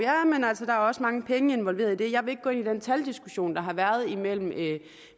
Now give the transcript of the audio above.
for også mange penge involveret i det jeg vil ikke gå ind i den taldiskussion der har været imellem